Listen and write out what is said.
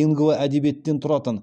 лингво әдебиеттен тұратын